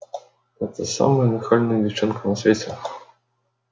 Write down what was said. это самая нахальная девчонка на свете